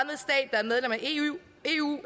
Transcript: eu